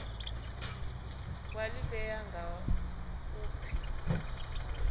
wa ḓivhea nga u pfi